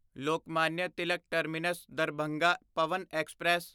Lokmanya Tilak terminus Darbhanga Pawan express